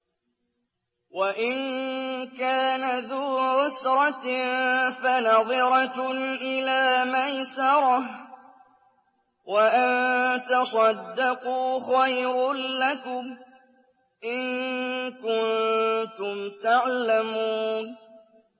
وَإِن كَانَ ذُو عُسْرَةٍ فَنَظِرَةٌ إِلَىٰ مَيْسَرَةٍ ۚ وَأَن تَصَدَّقُوا خَيْرٌ لَّكُمْ ۖ إِن كُنتُمْ تَعْلَمُونَ